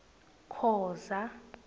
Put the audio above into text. khoza